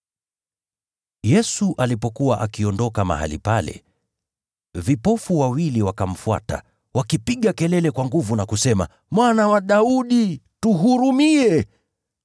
Yesu alipokuwa akiondoka mahali pale, vipofu wawili wakamfuata wakipiga kelele kwa nguvu na kusema, “Mwana wa Daudi, tuhurumie!”